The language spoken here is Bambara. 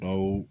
Bawo